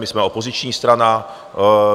My jsme opoziční strana.